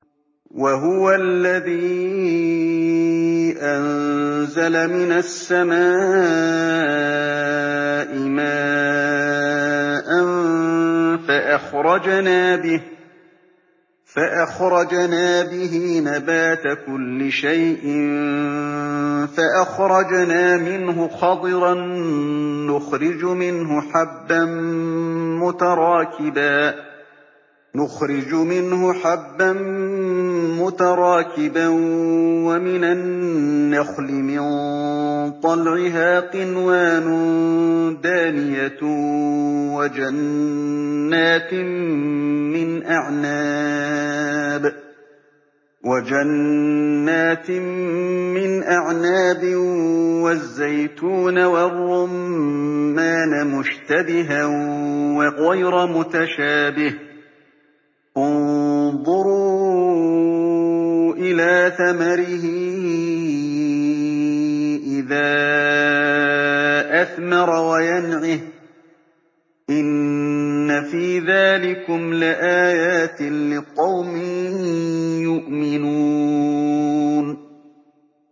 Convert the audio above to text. وَهُوَ الَّذِي أَنزَلَ مِنَ السَّمَاءِ مَاءً فَأَخْرَجْنَا بِهِ نَبَاتَ كُلِّ شَيْءٍ فَأَخْرَجْنَا مِنْهُ خَضِرًا نُّخْرِجُ مِنْهُ حَبًّا مُّتَرَاكِبًا وَمِنَ النَّخْلِ مِن طَلْعِهَا قِنْوَانٌ دَانِيَةٌ وَجَنَّاتٍ مِّنْ أَعْنَابٍ وَالزَّيْتُونَ وَالرُّمَّانَ مُشْتَبِهًا وَغَيْرَ مُتَشَابِهٍ ۗ انظُرُوا إِلَىٰ ثَمَرِهِ إِذَا أَثْمَرَ وَيَنْعِهِ ۚ إِنَّ فِي ذَٰلِكُمْ لَآيَاتٍ لِّقَوْمٍ يُؤْمِنُونَ